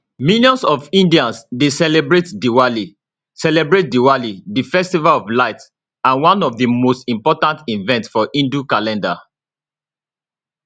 millions of indians dey celebrate diwali celebrate diwali di festival of lights and one of di most important events for hindu calendar